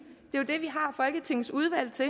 det vi har folketingets udvalg til